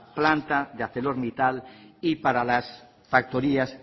planta de arcelormittal y para las factorías